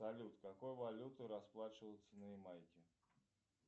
салют какой валютой расплачиваются на ямайке